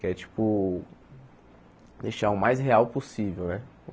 Que é, tipo, deixar o mais real possível, né?